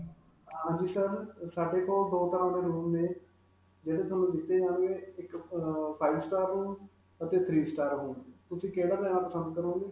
ਹਾਂਜੀ sir, ਸਾਡੇ ਕੋਲ ਦੋ ਤਰ੍ਹਾਂ ਦੇ room ਨੇ, ਜਿਹੜੇ ਤੁਹਾਨੂੰ ਦਿੱਤੇ ਜਾਣਗੇ, ਇਕ ਅਅ five star room ਅਤੇ three star room. ਤੁਸੀਂ ਕਿਹੜਾ ਲੈਣਾ ਪਸੰਦ ਕਰੋਗੇ?